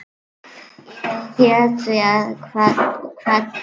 Ég hét því og kvaddi.